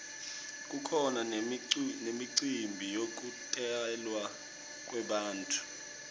kukhona nemicimbi yekutalwa kwebantfu